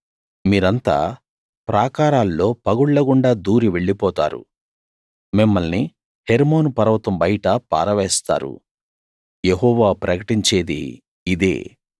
మీరంతా ప్రాకారాల్లో పగుళ్ళగుండా దూరి వెళ్లిపోతారు మిమ్మల్ని హెర్మోను పర్వతం బయట పారవేస్తారు యెహోవా ప్రకటించేది ఇదే